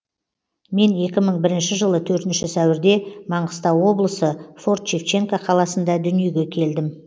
мен екі мың бірінші жылы төртінші сәуірде маңғыстау облысы форт шевченко қаласында дүниеге келдім